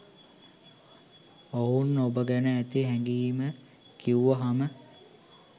ඔවුන් ඔබ ගැන ඇති හැගීම කිව්වහම